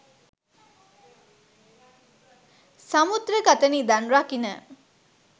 සමුද්‍රගත නිධන් රකින